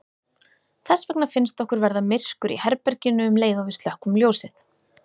Þess vegna finnst okkur verða myrkur í herberginu um leið og við slökkvum ljósið.